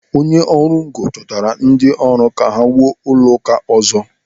Onye ọrụ ngo chọtara ndị ọrụ ka ha wuo ụlọ ụka ọzọ.